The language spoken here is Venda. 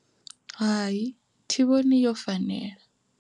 Hai thi vhoni yo fanela.